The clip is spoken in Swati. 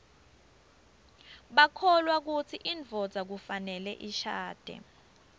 bakholwa kutsi indvodza kufanele ishadze